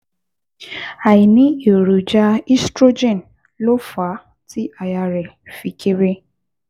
Àìní èròjà estrogen ló fà á tí àyà rẹ̀ fi kééré